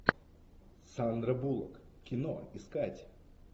сандра буллок кино искать